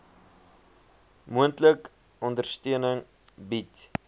moontlik ondersteuning bied